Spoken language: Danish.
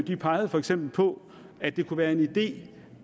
pegede for eksempel på at det kunne være en idé